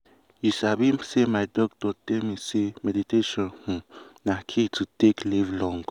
you sabi say my doctor tell me say meditation um na key to take live long.